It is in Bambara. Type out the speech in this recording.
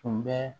Tun bɛ